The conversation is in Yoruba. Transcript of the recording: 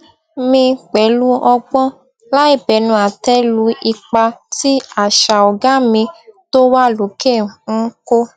mi pẹlú ọgbọn láìbẹnu àtẹ lu ipa tí àṣà ọgá mi tó wà lókè n kó